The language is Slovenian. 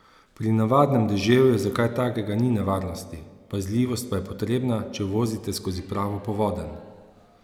Pri navadnem deževju za kaj takega ni nevarnosti, pazljivost pa je potrebna, če vozite skozi pravo povodenj.